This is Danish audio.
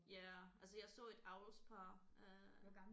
Ja altså jeg så et avlspar øh